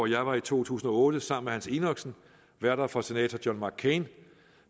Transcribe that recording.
jeg var i to tusind og otte sammen med hans enoksen værter for senator john mccain